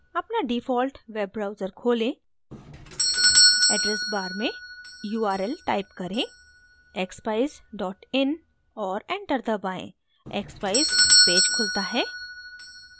अपना default web browser खोलें address bar में url type करें expeyes in और enter दबाएँ